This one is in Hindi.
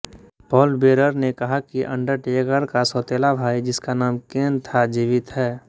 पाॅल बेरर ने कहा कि अंडरटेकर का सौतेला भाई जिसका नाम केन था जिवित हैं